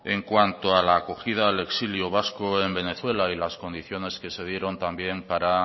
en cuanto a la acogida al exilio vasco en venezuela y las condiciones que se dieron también para